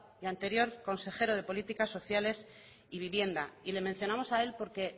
el anterior consejero de políticas sociales y vivienda y le mencionamos a él porque